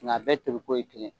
Nk'a bɛ pri ko ye kelen ye.